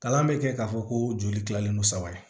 Kalan bɛ kɛ k'a fɔ ko joli kilalen don saba ye